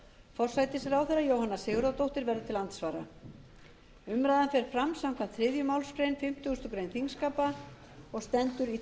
forsætisráðherra jóhanna sigurðardóttir verður til andsvara umræðan fer fram samkvæmt þriðju málsgrein fimmtugustu grein þingskapa og stendur í